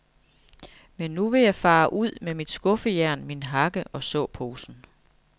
Men nu vil jeg fare ud med mit skuffejern, min hakke og såposen.